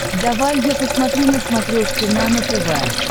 давай я посмотрю на смотрешке нано тв